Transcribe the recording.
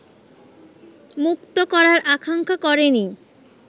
মুক্ত করার আকাঙ্ক্ষা করেনি